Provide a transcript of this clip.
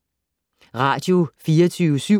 Radio24syv